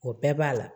O bɛɛ b'a la